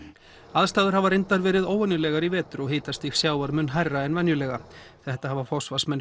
aðstæður hafa reyndar verið óvenjulegar í vetur og hitastig sjávar mun hærra en venjulega þetta hafa forsvarsmenn